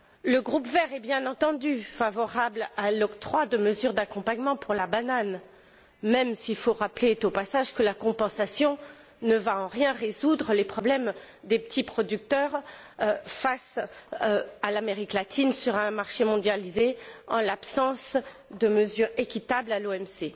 Le groupe Verts ALE est, bien entendu, favorable à l'octroi de mesures d'accompagnement dans le secteur de la banane même s'il faut rappeler, au passage, que la compensation ne va en rien résoudre les problèmes des petits producteurs face à l'Amérique latine sur un marché mondialisé, en l'absence de mesures équitables à l'OMC.